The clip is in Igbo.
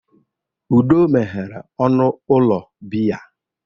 Udo meghere ọnụ ụlọ biya.